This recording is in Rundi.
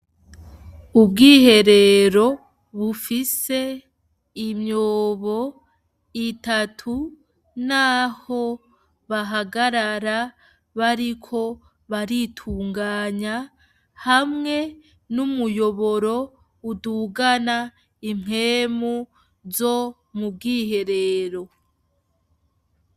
Ubwiherero bufise imyobo itatu n'aho bahagarara bariko baritunganya hamwe n'umuyoboro udugana impwemu zo mu bwiherero.